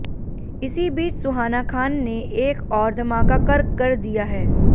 इसी बीच सुहाना खान ने एक और धमाका कर कर दिया है